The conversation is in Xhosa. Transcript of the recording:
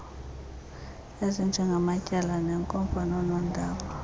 ezinjengamatyala neenkomfa noonondaba